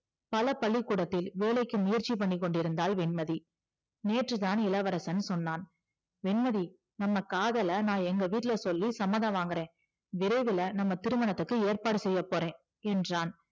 பல பள்ளிகூடத்தில் வேலைக்கு முயற்சி பன்ணி கொண்டிருந்தாள் வெண்மதி நேற்றுதான் இளவரசன் சொன்னான் வெண்மதி நம்ம காதலை நான் வீட்ல சொல்லி சம்மதம் வாங்குறேன் விரைவுல நம்ம திருமணத்துக்கு ஏற்பாடு செய்யப்போறேன் என்றான்